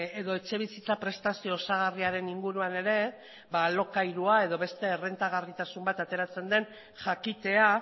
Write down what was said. edo etxebizitza prestazio osagarriaren inguruan ere ba alokairua edo beste errentagarritasun bat ateratzen den jakitea